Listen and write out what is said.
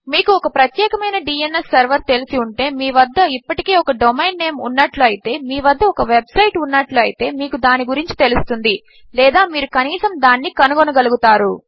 మీకు ఒక ప్రత్యేకమైన డ్న్స్ సెర్వర్ తెలిసి ఉంటే మీ వద్ద ఒక ఇప్పటికే ఒక డొమెయిన్ నేమ్ ఉన్నట్లు అయితే మీ వద్ద ఒక వెబ్ సైట్ ఉన్నట్లు అయితే మీకు దాని గురించి తెలుస్తుంది లేదా మీరు కనీసము దానిని కనుగొనగలుగుతారు